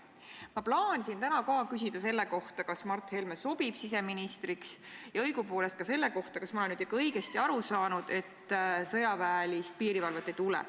Ma plaanisin täna ka küsida, kas Mart Helme sobib siseministriks, ja õigupoolest ka seda, kas ma olen ikka õigesti aru saanud, et sõjaväelist piirivalvet ei tule.